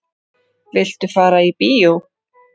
Viltu fara í bíó?